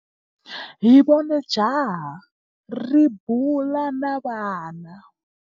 Hi vone jaha ri bula na vana.